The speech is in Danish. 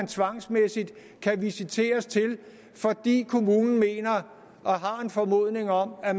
tvangsmæssigt kan visiteres til fordi kommunen mener og har en formodning om at